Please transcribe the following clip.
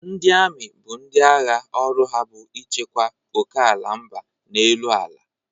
Ndị ami bụ ndị agha ọrụ ha bụ ichekwa okeala mba n'elu ala.